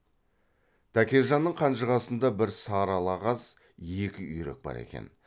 тәкежанның қанжығасында бір сары ала қаз екі үйрек бар екен